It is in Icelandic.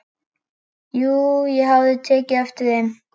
Jú, ég hafði tekið eftir þeim.